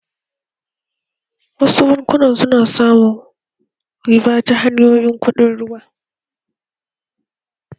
Wasu bankunan su na samun riba ta hanyar kuɗaɗen ruwa